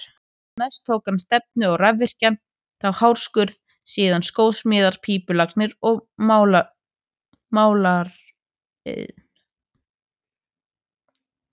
Næst tók hann stefnu á rafvirkjun, þá hárskurð, síðan skósmíðar, pípulagnir og málaraiðn.